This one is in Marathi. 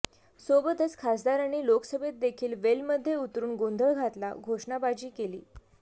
सोबतच खासदारांनी लोकसभेत देखील वेलमध्ये उतरून गोंधळ घालत घोषणाबाजी केली